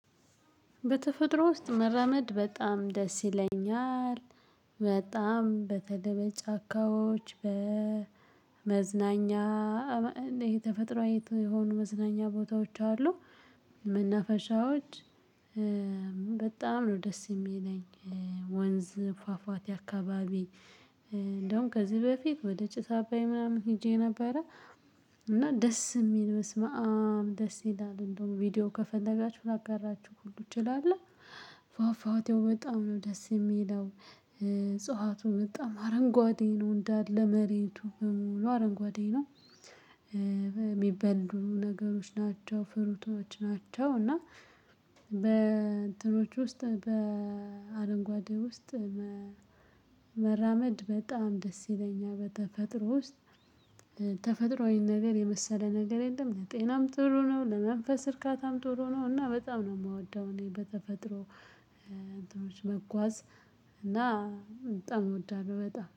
በተፈጥሮ ውስጥ መራመድ በጣም ደስ ይለኛል። በጣም በተለይ በጫካዎች በመዝናኛ የተፈጥሮ አይነት የሆኑ መዝናኛ ቦታዎች አሉ። መናፈሻዎች። በጣም ነው ደስ እሚለኝ። ወንዝ ፏፏቴ አካባቢ እንደውም ከዚህ በፊት ወደ ጭስ አባይ ምናምን ሄጄ ነበረ። እና ደስ እሚል በስመአብ ደስ ይላል እንደያውም ቪዲዮ ከፈለጋችሁ ላጋራችሁ ሁሉ እችላለህ። ፏፏቴው በጣም ነው ደስ እሚለው። እጽዋቱ በጣም አረንጓዴ ነው እንዳለ መሬቱ በሙሉ አረንጓዴ ነው። የሚበሉ ነገሮች ናቸው ፍሩቶች ናቸው እና። በእንትኖች ውስጥ በአረንጓዴ ውስጥ። መራመድ በጣም ደስ ይለኛል በተፈጥሮ ውስጥ። ተፈጥሮአዊ ነገር የመሰለ ነገር የለም። ለጤናም ጥሩ ነው። ለመንፈስ እርካታም ጥሩ ነው። እና በጣም ነው እምወደው እኔ በተፈጥሮ። እንትኖች መጓዝ። እና በጣም እወዳለሁ በጣም